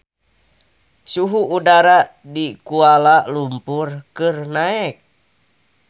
Suhu udara di Kuala Lumpur keur naek